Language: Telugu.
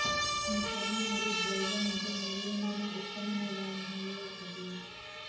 మీ చర్మం మరీ డ్రైగా ఉంటే నువ్వుల నూనె ఉత్తమ నివారణలలో ఒకటి